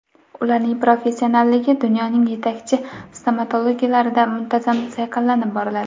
Ularning professionalligi dunyoning yetakchi stomatologiyalarida muntazam sayqallanib boriladi.